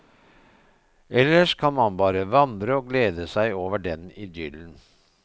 Ellers kan man bare vandre og glede seg over den idyllen.